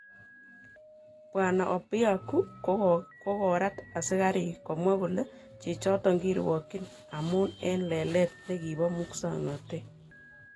Bwana Obiaku kogorat asikarik komwa kole chichoton kirwokyin ko amun eng lelet nekibo musoknotet